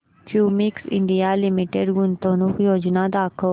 Cummins India Limited गुंतवणूक योजना दाखव